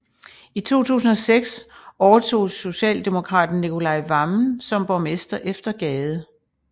I 2006 overtog socialdemokraten Nicolai Wammen som borgmester efter Gade